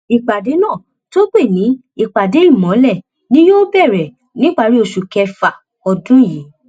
ìpàdé náà tó pè ní ìpàdé ìmọlẹ ni yóò bẹrẹ níparí oṣù kẹfà ọdún yìí